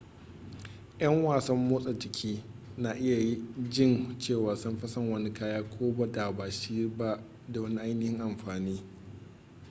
ƴan wasan motsa jiki na iya jin cewa sun fi son wani kaya ko da ba shi da wani ainihin amfani